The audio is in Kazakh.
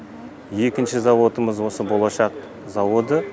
екінші заводымыз осы болашақ заводы